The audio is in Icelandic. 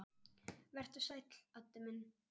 Vertu sæll, Addi minn.